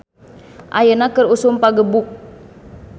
"Ayeuna keur usum pagebuk "